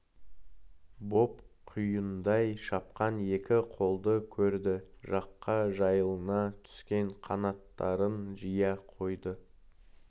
боп құйындай шапқан екі қолды көрді жаққа жайыла түскен қанаттарын жия қойды